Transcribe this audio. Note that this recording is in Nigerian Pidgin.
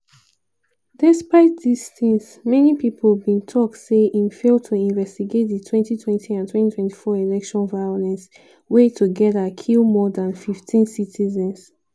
despite dis tins many pipo bin tok say im fail to investigate di 2020 and 2024 election violence wey togeda kill more dan 15 citizens.